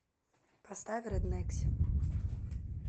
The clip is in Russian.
поставь рэд нэкси